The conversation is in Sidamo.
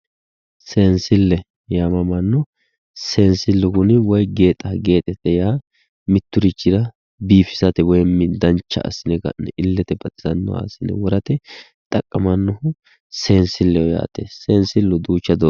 seensille yaammamanno seesnsillu kuni woy gexa gexe yaa mitturichira biifisate woymi dancha assine ka'ne illete baxisannoha assine worate xaqqamannahu seensilleho yaate seensillu duucha doogonni